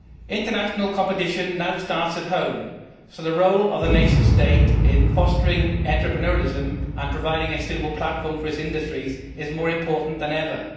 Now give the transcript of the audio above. International competition now starts at home, so the role of the nation state in fostering entrepreneurialism and providing a suitable platform for its industries is more important than ever.